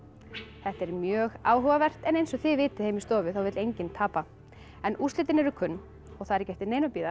þetta er mjög áhugavert en eins og þið vitið heima í stofu þá vill enginn tapa en úrslitin eru kunn og það er ekki eftir neinu að bíða